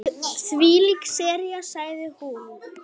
Þvílík sería sagði hún.